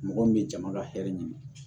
Mɔgɔ min bɛ jama ka hɛrɛ ɲini